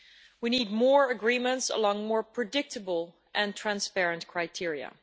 We need more agreements along with more predictable and transparent criteria.